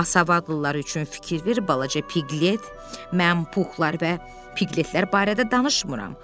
Amma savadlılar üçün fikir ver balaca Piqlet, mən Puxlar və Piqletlər barədə danışmıram.